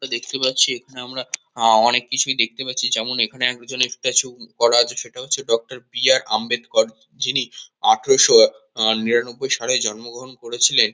যেটা দেখতে পাচ্ছি এখানে আমরা আ অনেক কিছুই দেখতে পাচ্ছি। যেমন এখানে একজন একটা ছবি করা আছে সেটা হচ্ছে ডক্টর বি আর আম্বেদকর। যিনি আঠেরোশো আ নিরানব্বই সালে জন্মগ্রহণ করেছিলেন।